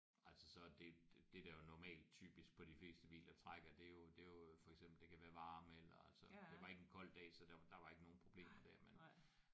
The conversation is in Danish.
Altså så det det der jo normalt typisk på de fleste biler trækker det er jo det er jo for eksempel det kan være varme eller altså det var ikke en kold dag så der var der var ikke nogen problemer der men